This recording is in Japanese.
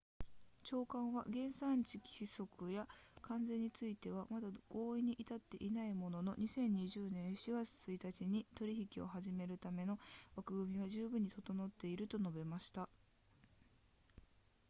長官は原産地規則や関税についてはまだ合意に至っていないものの2020年7月1日に取引を始めるための枠組みは十分に整っていると述べました